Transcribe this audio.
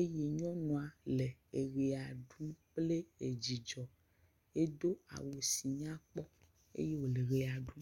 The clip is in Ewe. eye nyɔnua le ʋe ɖum kple dzidzɔ. Edo awu si nyakpɔ eye wole ʋea ɖum.